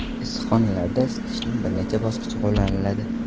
Issiqxonalarda isitishning bir necha bosqichi qo‘llaniladi.